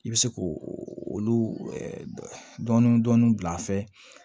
I bɛ se k'o olu dɔɔni dɔɔni bila a fɛ